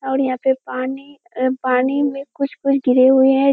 और यहाँ पे पानी अ पानी में कुछ-कुछ गिरे हुए हैं।